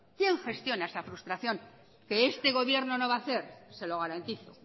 quién gestiona esa frustración que este gobierno no va a hacer se lo garantizo